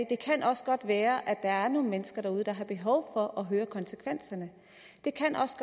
kan også godt være at der er nogle mennesker derude der har behov for at høre konsekvenserne det kan også